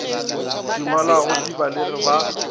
di ngwalago di balege ba